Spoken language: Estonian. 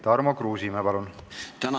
Tarmo Kruusimäe, palun!